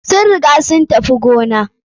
Sun riga sun tafi gona.